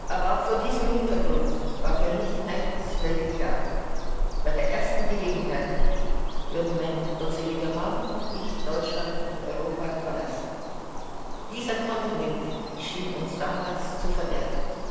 Aber auch vor diesem Hintergrund war für mich eines völlig klar Bei der ersten Gelegenheit würden mein gottseliger Mann und ich Deutschland und Europa verlassen. Dieser Kontinent schien uns damals zu verderbt.